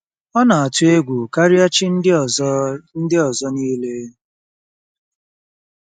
Ọ na-atụ egwu karịa chi ndị ọzọ ndị ọzọ niile.